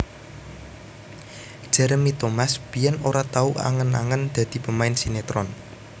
Jeremy Thomas biyèn ora tau angen angen dadi pemain sinétron